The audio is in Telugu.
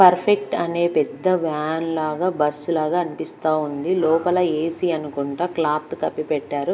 పర్ఫెక్ట్ అనే పెద్ద వ్యాన్ లాగా బస్సు లాగా అన్పిస్తా ఉంది లోపల ఏసి అనుకుంటా క్లాత్ కప్పి పెట్టారు.